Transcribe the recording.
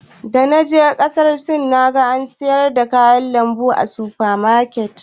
Da na je kasar Sin, na ga ana siyar da kayan lambu a sufa maket.